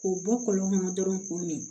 K'u bɔ kɔlɔn kɔnɔ dɔrɔn k'o min